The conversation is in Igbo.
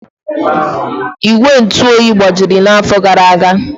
Igwe ntụ oyi gbajiri n'afọ gara aga.